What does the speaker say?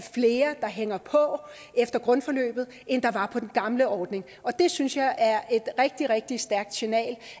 flere der hænger på efter grundforløbet end der var på den gamle ordning og det synes jeg er et rigtig rigtig stærkt signal